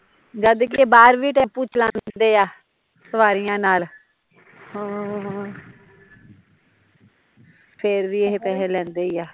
ਜਦਕਿ ਏਹ ਬਾਹਰ ਵੀ ਟੈਂਪੂ ਚਲਾਉਂਦੇ ਆ ਸਵਾਰੀਆ ਨਾਲ਼, ਹਮ ਫੇਰ ਵੀ ਏਹ ਪੈਸੇ ਲੈਂਦੇ ਹੀਂ ਏ